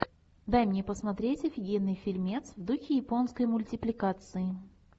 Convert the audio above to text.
дай мне посмотреть офигенный фильмец в духе японской мультипликации